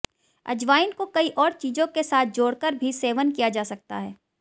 अजवाइन को कई और चीजों के साथ जोड़कर भी सेवन किया जा सकता है